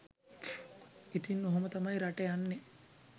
ඉතින් ඔහොම තමයි රට යන්නෙ